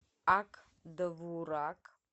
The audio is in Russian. ак довурак